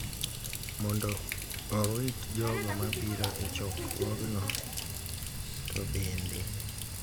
mondo orit jogo ma biro e chokruogno to bende ,